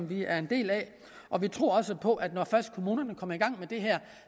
vi er en del af og vi tror også på at når først kommunerne kommer i gang med det her